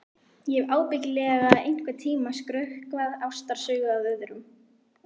Ég hef ábyggilega einhvern tíma skrökvað ástarsögu að öðrum.